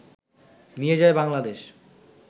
নিয়ে যায় বাংলাদেশ